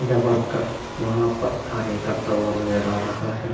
यह वर्कर वहां पर कार्य करता हुआ नजर आ रहा है।